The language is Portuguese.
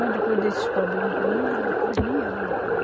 Mas depois desses problemas comigo, eu quase nem ando por aí.